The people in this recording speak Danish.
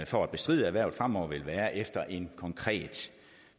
for at bestride hvervet fremover vil være en konkret